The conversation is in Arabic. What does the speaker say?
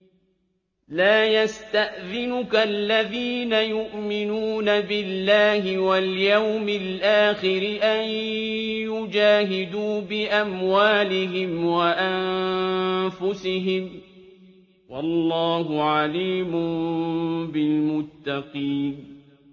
لَا يَسْتَأْذِنُكَ الَّذِينَ يُؤْمِنُونَ بِاللَّهِ وَالْيَوْمِ الْآخِرِ أَن يُجَاهِدُوا بِأَمْوَالِهِمْ وَأَنفُسِهِمْ ۗ وَاللَّهُ عَلِيمٌ بِالْمُتَّقِينَ